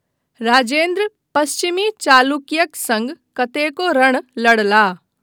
राजेन्द्र पश्चिमी चालुक्यक सङ्ग कतेको रण लड़लाह।